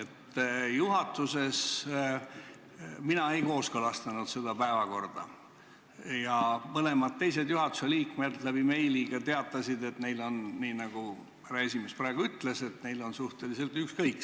Mina juhatuses ei kooskõlastanud seda päevakorda ja mõlemad teised juhatuse liikmed teatasid meili teel, et neil on – nii nagu härra esimees praegu ütles – suhteliselt ükskõik.